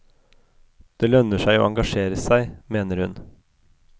Det lønner seg å engasjere seg, mener hun.